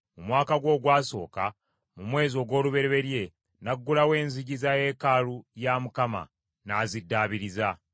Mu mwaka gwe ogwasooka, mu mwezi ogw’olubereberye, n’aggulawo enzigi za yeekaalu ya Mukama , n’aziddaabiriza.